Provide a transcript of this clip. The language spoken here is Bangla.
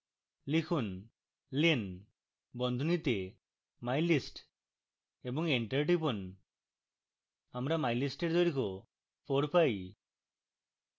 লিখুন len বন্ধনীতে mylist এবং enter টিপুন আমরা mylist we দৈর্ঘ্য four পাই